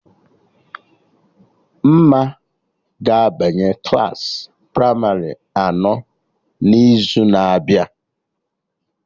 Mma ga-abanye Klassị pramarị anọ n'izu na-abịa